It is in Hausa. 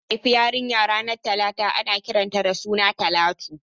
Idan aka haifi yarinya ranar Talata ana kiran ta da suna Talatu